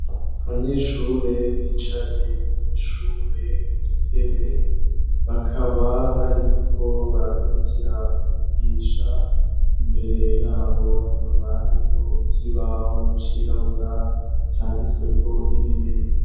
Abanyeshure bicaye mw'ishure ku dutebe, bakaba bariko barakurikira umwigisha, imbere yabo hakaba hariho ikibaho cirabura canditsweko ibintu.